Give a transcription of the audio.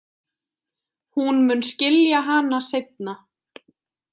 Hún mun skilja hana seinna.